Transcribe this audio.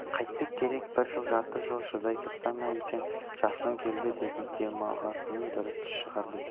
қайтпек керек бір жыл-жарты жыл шыдай тұрса ма екен жасыңыз келді енді демалғаныңыз дұрыс шығар десе